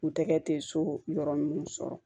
U tɛgɛ tɛ so yɔrɔ minnu sɔrɔ